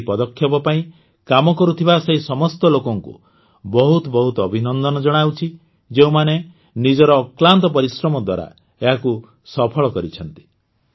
ମୁଁ ଏହି ପଦକ୍ଷେପ ପାଇଁ କାମ କରୁଥିବା ସେହି ସମସ୍ତ ଲୋକଙ୍କୁ ବହୁତ ବହୁତ ଅଭିନନ୍ଦନ ଜଣାଉଛି ଯେଉଁମାନେ ନିଜର ଅକ୍ଳାନ୍ତ ପରିଶ୍ରମ ଦ୍ୱାରା ଏହାକୁ ସଫଳ କରିଛନ୍ତି